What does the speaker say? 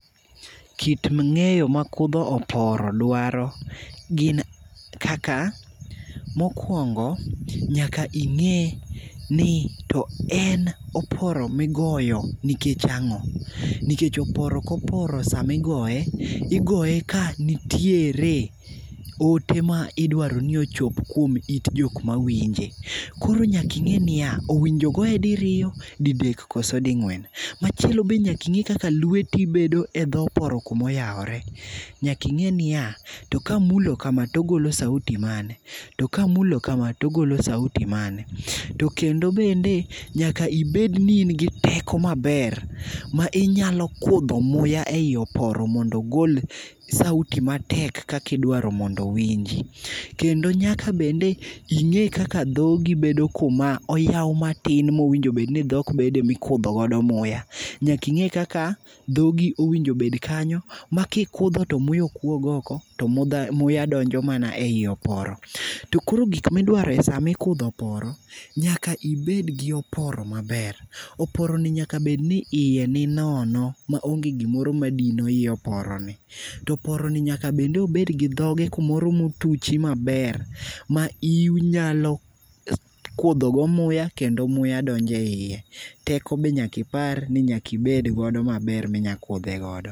Kit ng'eyo ma kudho oporo dwaro, gin kaka mokuongo nyaka ing'e ni to en oporo migoyo nikech ang'o. Nikech oporo koporo sama igoye, igoye ka nitiere ote ma idwaro ni ochop kuom it jok mawinje. Koro nyaka ing'e niya, owinjo goye diriyo, didek, kose ding'wen. Machielo be nyaka ing'e kaka lweti bedo e dho oporo kuma oyawore. Nyaka ing'e niya, kamulo kama, to ogolo sauti mane. To kamulo kama to ogolo sauti mane. To kendo bende nyaka ibed ni in gi teko maber ma inyalo kudho muya ei oporo mondo igol sauti matek kaka idwaro mondo owinji. Kendo nyaka bende ing'e kaka dhogi bedo kuma oyaw matin mowinjo bed ni dhok bede mikudho godo muya. Nyaka ing'e kaka dhogi owinjo bed kanyo makikudho to muya ok wuog oko to muya donjo mana ei oporo. To koro gik midwaro e sama ikudho oporo nyaka ibed gi oporo maber. Oporoni nyaka bed ni iye ni nono maonge gimoro madino i oporoni. To oporoni nyaka bende bed ni dhoge kumoro motuchi maber ma inyalo kudhogo muya kendo muya donjo eiye. Teko bende nyaka ibed godo maber minyalo kudhe godo.